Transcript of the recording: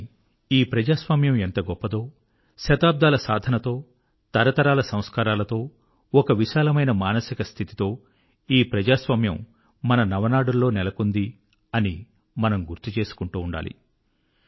కానీ ఈ ప్రజాస్వామ్యము ఎంతగొప్పదో శతాబ్దాల సాధనతో తరతరాల సంస్కారాలతో ఒక విశాలమైన మానసిక స్థితితో ఈ ప్రజాస్వామ్యము మన నవనాడుల్లో నెలకొన్నది అని మనము గుర్తుచేసుకుంటూ ఉండాలి